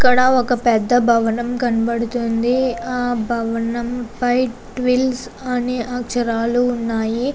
ఇక్కడ ఒక పెద్ద భవనం కనపడుతుంది. ఆ భవనం పై ట్విల్స్ అని అక్షరాలు ఉన్నాయి.